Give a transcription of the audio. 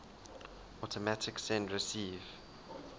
automatic send receive